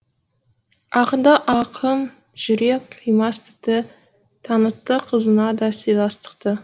ақынды ақын жүрек қимас тіпті танытты қызына да сыйластықты